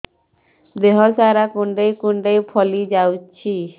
ଦେହ ସାରା କୁଣ୍ଡାଇ କୁଣ୍ଡାଇ ଫଳି ଯାଉଛି